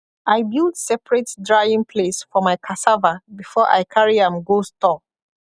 i build separate drying place for my cassava before i carry am go store